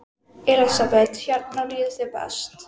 Elísabet: Hérna líður þér best?